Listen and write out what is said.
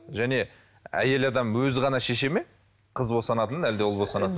және әйел адам өзі ғана шешеді ме қыз босанатынын әлде ұл босанатын